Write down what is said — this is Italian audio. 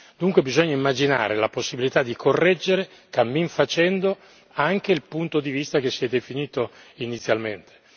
Dunque bisogna immaginare la possibilità di correggere cammin facendo anche il punto di vista che si è definito inizialmente.